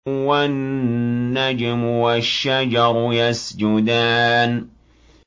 وَالنَّجْمُ وَالشَّجَرُ يَسْجُدَانِ